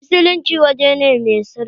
A'a, masallaci wuri ne mai sarki.